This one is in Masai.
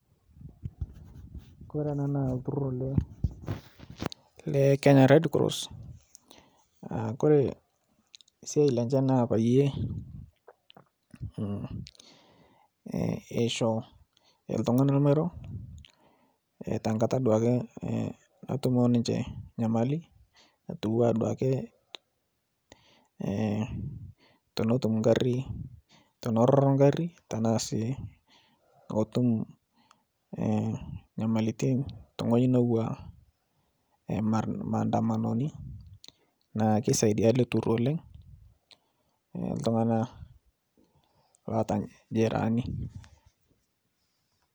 Kore ana lturur le Kenya red cross Kore siai lenche naa payie echo ltunganak lmairo tenkata duake natumo ninche nyamali atua duake tenetum nkari teneroro nkari tanasi kotum nyamalitin te ngo' ji netua lmandamanoni naaku keisadia ale lturur oleng ltunganak loata jeraani.